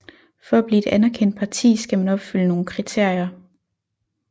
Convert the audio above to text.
For at blive et anerkendt parti skal man opfylde nogle kriterier